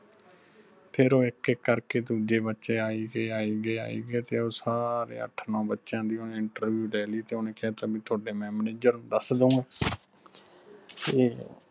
ਫਿਰ ਉਹ ਇਕ ਇਕ ਕਰਕੇ ਦੂਜੇ ਬੱਚੇ ਆਈ ਗੇ ਆਈ ਗੇ ਆਈ ਗੇ ਤੇ ਉਹ ਸਾਰੇ ਅੱਠ ਨੋ ਬੱਚਿਆਂ ਦੀ ਓਹਨੇ interview ਲੈ ਲਈ ਤੇ ਓਹਨੇ ਕਿਹਾ ਤੁਹਾਨੂੰ ਤੁਹਾਡੇ mam ਨੇ ਜਰੂਰ ਦਸ ਦੇਣਾ ਤੇ